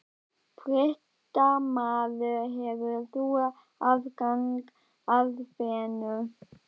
Fréttamaður: Hefur þú aðgang að fénu?